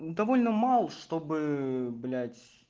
довольно мало чтобы блять